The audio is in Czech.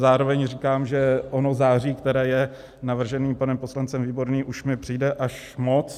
Zároveň říkám, že ono září, které je navrženo panem poslancem Výborným, už mi přijde až moc.